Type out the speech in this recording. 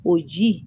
O ji